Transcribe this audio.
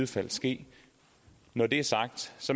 skal ske når det er sagt